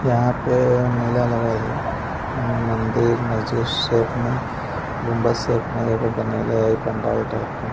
यहां पे मेला लगल हई मंदिर मस्जिद शेप में गुम्बज शेप में एगो बनैले हई पंडाल टाइप के।